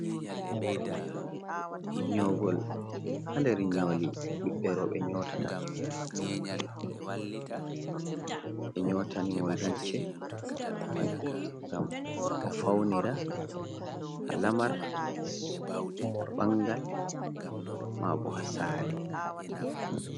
Nyoogol, haa nder nyooli ɓiɓɓe rewɓe nyootata, ɓe nyootani mo limce ngam o fawnira haa lamar haa banngal maa boo haa saare.